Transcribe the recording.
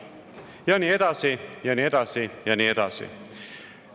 Ja nii edasi ja nii edasi ja nii edasi.